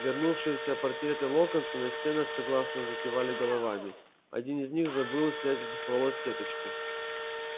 вернувшиеся портреты локонса на стенах согласно закивали головами один из них забыл снять с волос сеточку